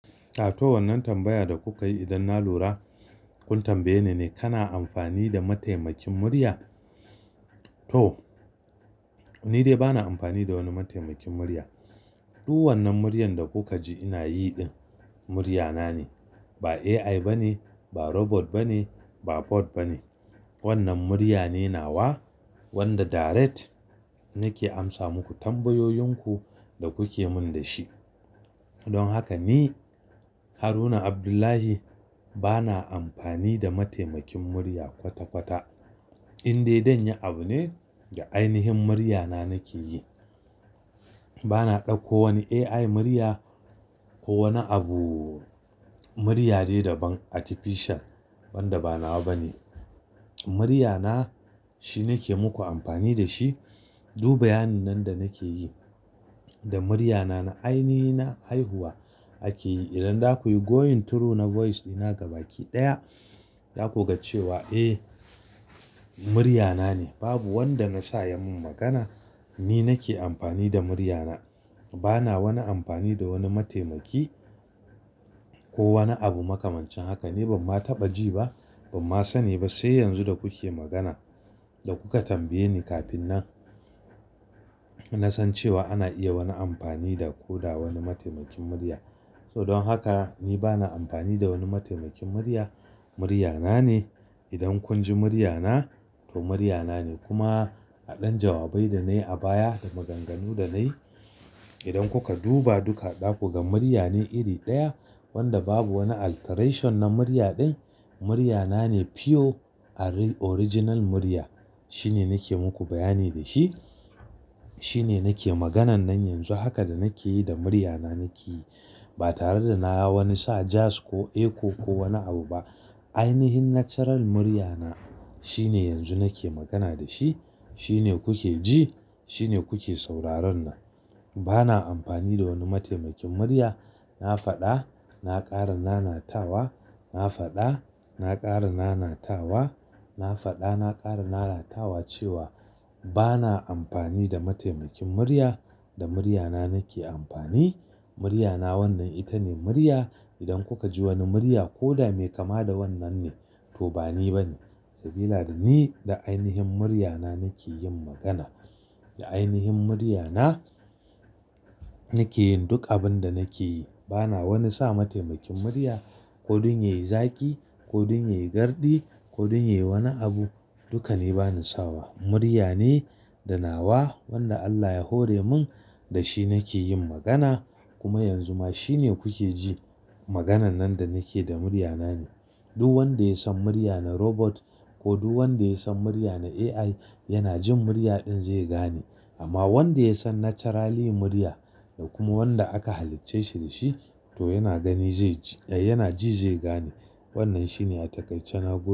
To, wannan tambaya da kuka yi idan na lura kun tambaye ni ne, kana amfani da mataimakin murya? To, ni dai bana amfani da wani mataimakin murya. Duk wannan muryan da kuka ji ina yi, murya na ne. Ba AI ba ne, ba robot ba ne, ba pod ba ne. Wannan murya ne nawa wanda direct nake amsa muku tambayoyinku da kuke min da shi. Don haka ni Haruna Abdullahi bana amfani da mataimakin murya kwata-kwata. Indai zanye abu ne da ainihin murya na nake yi. Bana ɗauko wani AI murya ko wani abu muryade da ban artificial wanda ba nawa ba ne. Murya na shi nake muku amfani da shi. Duk bayanin nan da nake yi da murya na, na ainihi na haihuwa ake yi. Idan za ku yi going through na voice dina gaba ki ɗaya za ku ga cewa, eh murya na ne. Babu wanda na sa ya min magana. Ni nake amfani da murya na. Bana wani amfani da wani mataimaki ko wani abu makamancin haka. Ni ban ma taɓa ji ba, ban ma sani ba. Sai yanzu da kuke magana da kuka tambaye ni kafin nan, na san cewa ana iya wani amfani da ko da wani mataimakin murya. To, don haka ni bana amfani da wani mataimakin murya. Murya na ne. Idan kun ji murya na, to murya na ne. Kuma a ɗan jawabai da na yi a baya da maganganu da na yi, idan kuka duba duka zaku ga murya ne iri ɗaya wanda babu wani alteration na murya din. Murya na ne pure original murya. Shine nake muku bayani da shi. Shine nake maganan nan yanzu. Haka da nake yi da murya na nake yi. Ba tare da na wani sa jazz ko echo ko wani abu ba. Ainihin natural murya na shine yanzu nake magana da shi. Shine kuke ji. Shine kuke sauraron nan. Bana amfani da wani mataimakin murya. Na faɗa, na ƙara na na tawa. Na faɗa, na ƙara na na tawa. Na faɗa, na ƙara na ratawa cewa bana amfani da mataimakin murya. Da murya na nake amfani. Murya na wannan ita ne murya. Idan kuka ji wani murya ko dame kama da wannan ne, to ba ni ba ne. Saboda da ni da ainihin murya na nake yin magana. Da ainihin murya na nake yin duk abin da nake yi. Bana wani sa mataimakin murya ko don ya yi zaki ko don ya yi gardi ko don ya yi wani abu. Dukka ni bani sawa. Murya ne da nawa wanda Allah ya hore min da shi nake yin magana. Kuma yanzu ma shine kuke ji. Maganan nan da nake da murya na ne. Duk wanda ya san murya na robot ko duk wanda ya san murya na AI, yana jin murya din zai gane. Amma wanda ya san naturally murya da kuma wanda aka halicce shi da shi to yana gani zai ji, eh yana ji zai gane. Wannan shine a takaice na gode.